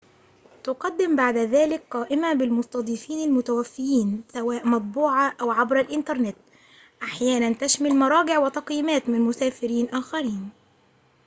تُقدم بعد ذلك قائمة بالمستضيفين المتوفيين سواء مطبوعةً و/أو عبر الإنترنت، أحياناً تشمل مراجع وتقييمات من مسافرين آخرين